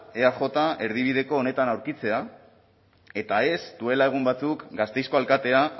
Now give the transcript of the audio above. eaj erdibideko honetan aurkitzea eta ez duela egun batzuk gasteizko alkatea